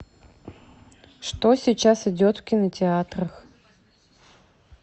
что сейчас идет в кинотеатрах